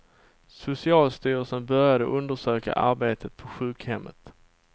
Socialstyrelsen började undersöka arbetet på sjukhemmet.